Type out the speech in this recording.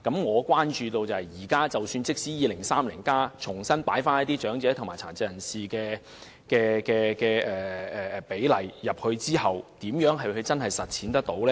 可是，即使現時在《香港 2030+》重新加入與長者及殘疾人士有關的服務比例，日後如何能夠真正實踐？